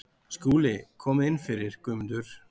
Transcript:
SKÚLI: Komið inn fyrir, Guðmundur.